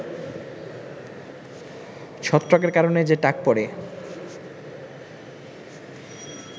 ছত্রাকের কারণে যে টাক পড়ে